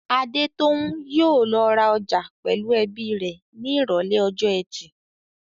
Adetoun yóò lọ ra ọjà pẹ̀lú ẹbí rẹ̀ ní Ìrọ̀lẹ́ ọjọ́ ẹtì.